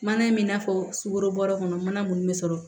Mana in bɛ n'a fɔ sukoro bɔrɛ kɔnɔ mana mun bɛ sɔrɔ